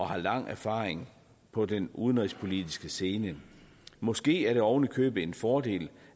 har lang erfaring på den udenrigspolitiske scene måske er det oven i købet en fordel